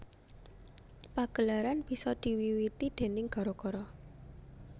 Pagelaran bisa diwiwiti déning gara gara